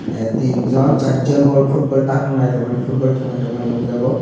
a tin jon sar jon ball football takna naitongmani football tongnai tongmani nogjago.